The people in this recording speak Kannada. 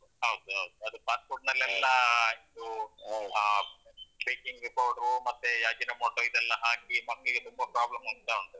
ಹೌದ್ ಹೌದು ಅದು fast food ಲೆಲ್ಲಾ ಇದೂ ಆ baking powder ಮತ್ತೇ ಈ Ajinomoto ಇದ್ ಎಲ್ಲ ಹಾಕಿ ಮಕ್ಕ್ಳಿಗೆ ತುಂಬ problem ಆಗ್ತಾ ಉಂಟದು.